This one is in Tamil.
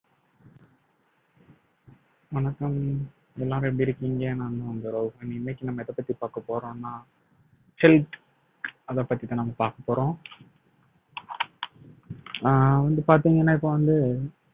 வணக்கம் எல்லாரும் எப்படி இருக்கீங்க நான்தான் உங்க இன்னைக்கு நம்ம எதைப்பத்தி பார்க்க போறோம்னா health அதைப் பத்திதான் நம்ம பார்க்க போறோம் அஹ் வந்து பார்த்தீங்கன்னா இப்ப வந்து